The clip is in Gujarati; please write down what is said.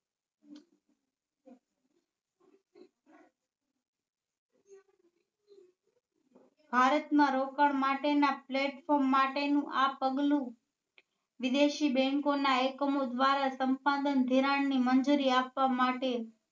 ભારત માં રોકાણ માટે ના platform માટે નું આ પગલું વિદેશી bank ઓ ના એકમો દ્વારા સંપાદન ધિરાણ ની મંજુરી આપવા માટે